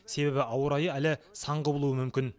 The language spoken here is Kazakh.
себебі ауа райы әлі сан құбылуы мүмкін